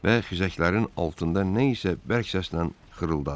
Və xizəklərin altında nə isə bərk səslə xırıldadı.